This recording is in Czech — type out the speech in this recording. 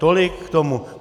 Tolik k tomu.